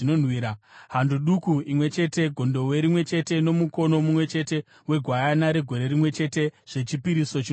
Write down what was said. hando duku imwe chete, gondobwe rimwe chete nomukono mumwe chete wegwayana regore rimwe chete zvechipiriso chinopiswa;